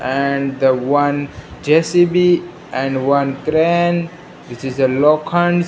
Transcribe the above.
and the one J_C_B and one crane which is a low .